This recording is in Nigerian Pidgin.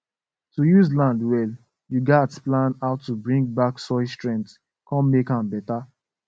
to use land well you gatz plan how to bring back soil strength con make am better